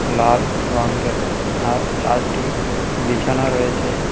লাল রংয়ের আর চারটি বিছানা রয়েছে--